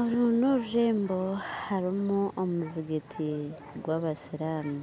Oru norurembo harimu omuzigiti. gwabasiramu